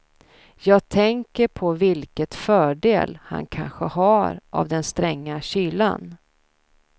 Jag tänker på vilket fördel han kanske har av den stränga kylan.